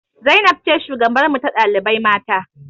Zainab ce shugabarmu ta ɗalibai mata